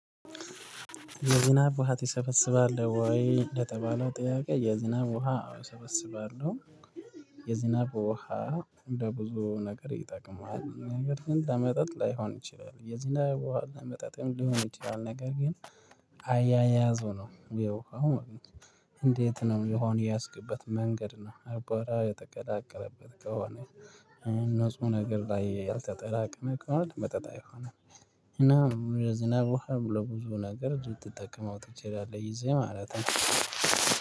የዝናብ ውሃ ትሰበስባለህ ወይ ለተባለው ጥያቄ? የዝናብ ውሃ አዎ እሰበስባለሁ። የዝናብ ውሃ እንደ ብዙ ነገር ይጠቅማል ነገር ግን ለመጠጥ ላይሆን ይችላል የዝናብ ውሃ ለመጠጥም ሊሆን ይችላል ነገር ግን አያያዙ ነው የውሃው ማለት ነው። እንዴት ነው ውሃውን የያዝክበት መንገድ ነው? አቧራ የተቀላቀለበት ከሆነ ንጹህ ነገር ላይ ያልተጠራቀመ ከሆነ ለመጠጥ አይሆንም። እና የዝናብ ውሃ ለብዙ ነገር ልትጠቀመው ትችላለህ ይዘህ ማለት ነው።